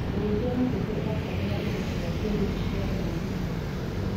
ũrĩithi wa ngũkũ urabtara indo cia kĩiriu cia ũrĩithi mwega